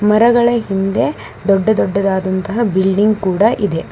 ಮರಗಳ ಹಿಂದೆ ದೊಡ್ಡ ದೊಡ್ಡದಾದಂತಹ ಬಿಲ್ಡಿಂಗ್ ಕೂಡ ಇದೆ.